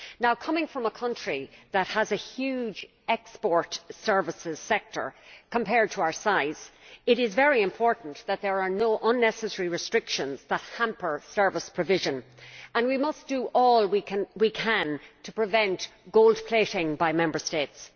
Now, coming from a country that has a huge export services sector compared to our size, I consider it is very important that there are no unnecessary restrictions that hamper service provision, and we must do all we can to prevent gold plating by Member States.